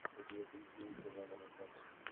у тебя будет кинище жанра ржака